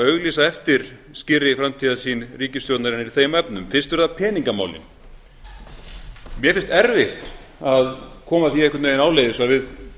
auglýsa eftir skýrri framtíðarsýn ríkisstjórnarinnar í þeim efnum fyrst eru það peningamálin mér finnst erfitt að koma því einhvern veginn áleiðis að við